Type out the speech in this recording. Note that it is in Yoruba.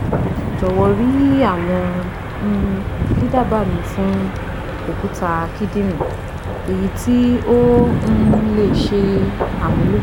Jọwọ ri awọn um didaba mi fun okuta kidinrin eyiti o um le ṣe amulo